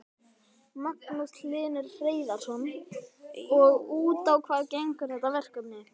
Magnús Hlynur Hreiðarsson: Og út á hvað gengur þetta verkefni?